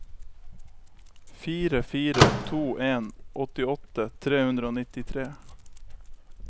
fire fire to en åttiåtte tre hundre og nittitre